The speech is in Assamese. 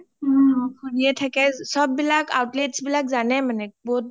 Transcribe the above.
ফুৰিয়ে থাকে চ’ব বিলাক outlets বিলাক জানেই মানে ক’ত